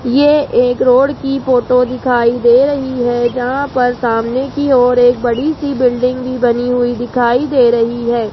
ये एक रोड की फोटो दिखाई दे रही है जहां पर सामने की ओर एक बड़ी सी बिल्डिंग भी बनी हुई दिखाई दे रही है।